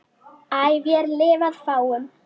æ vér lifað fáum